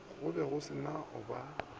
ge go se no ba